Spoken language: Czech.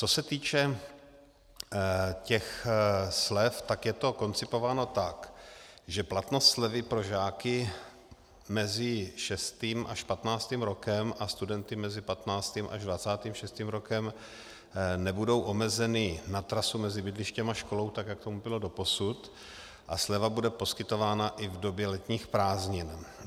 Co se týče těch slev, tak je to koncipováno tak, že platnost slevy pro žáky mezi šestým až patnáctým rokem a studenty mezi patnáctým až dvacátým šestým rokem nebudou omezeny na trasu mezi bydlištěm a školou, tak jak tomu bylo doposud, a sleva bude poskytována i v době letních prázdnin.